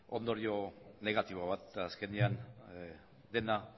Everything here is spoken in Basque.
ondorio negatibo bat eta azkenean dena